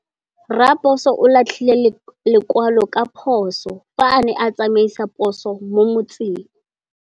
Raposo o latlhie lekwalô ka phosô fa a ne a tsamaisa poso mo motseng.